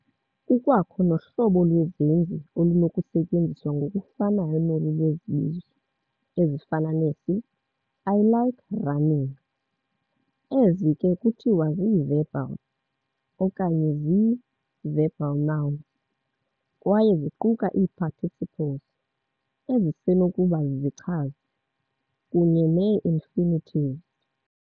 Kukwakho nohlobo lwezenzi olunokusetyenziswa ngokufanayo nolu lwezibizo, ezifana nesi 'I like "running". Ezi ke kuthiwa zii-"verbals" okanye zii-verbal nouns", kwaye ziquka ii-"participles", ezisenokuba zizichazi, kunye nee-"infinitives".